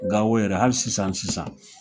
Gawo yɛrɛ hali sisan sisan.